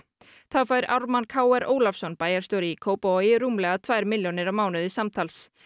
þá fær Ármann Kr Ólafsson bæjarstjóri í Kópavogi rúmlega tvær milljónir á mánuði samtals